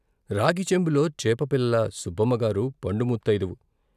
రాగిచెంబులో చేపపిల్ల సుబ్బమ్మగారు పండు ముత్తయిదువు.